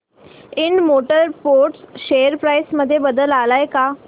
Ind motor parts share price मध्ये बदल आलाय का